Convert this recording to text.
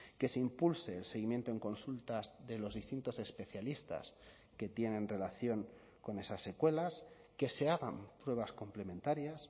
que se impulse el seguimiento en consultas de los distintos especialistas que tienen relación con esas secuelas que se hagan pruebas complementarias